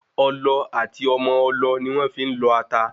Ọlọ àti Ọmọ ọlọ ni wọ́n fi ń lọ ata